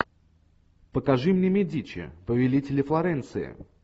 покажи мне медичи повелители флоренции